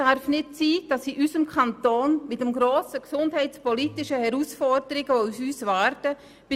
Es kommen grosse gesundheitliche Herausforderungen auf unseren Kanton zu.